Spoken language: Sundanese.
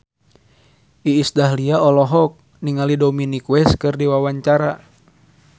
Iis Dahlia olohok ningali Dominic West keur diwawancara